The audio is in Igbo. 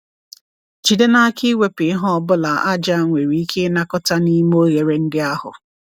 Jide n'aka iwepụ ihe ọ bụla aja nwere ike ịnakọta n'ime oghere ndị ahụ.